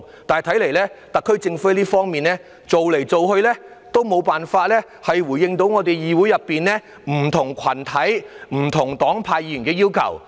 但看來特區政府在這方面反反覆覆，總無法回應議會內不同群體、不同黨派議員的要求。